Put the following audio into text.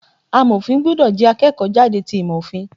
Amọ̀fin gbúdọ̀ jẹ́ akẹ́kọ̀ọ́ jáde ti ìmò Òfin.